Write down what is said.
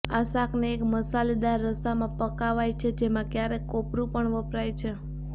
આ શાકને એક મસાલેદાર રસામાં પકવાય છે જેમાં ક્યારેક કોપરું પણ વપરાય છે